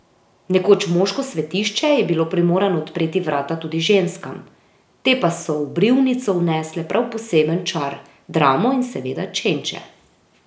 Nekoč moško svetišče je bilo primorano odpreti vrata tudi ženskam, te pa so v brivnico vnesle prav poseben čar, dramo in seveda čenče.